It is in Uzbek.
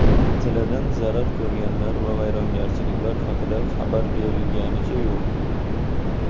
Zilziladan zarar ko‘rganlar va vayronagarchiliklar haqida xabar berilganicha yo‘q.